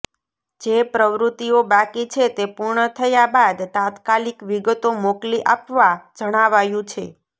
જે પ્રવૃતિઓ બાકી છે તે પૂર્ણ થયા બાદ તાત્કાલિક વિગતો મોકલી આપવા જણાવાયું છે